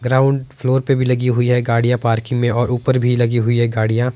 ground floor पे भी लगी हुई है गाड़ियां पार्किंग में और ऊपर भी लगी हुई है गाड़ियां--